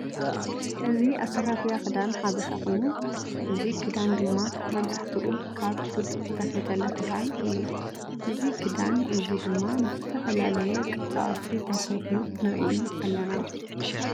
እዚ ኣሰፋፍያ ክዳን ሓበሻ ኮይኑ እዚ ክዳን ድማ መብዛሕትኡ ካብ ጡጥ ዝተፈተለ ክዳን እዩ። እዚ ክዳን እዚ ድማ ብዝተፈላለየ ቅርፃቅርፂ ተሰፍዩ ንርኢ ኣለና።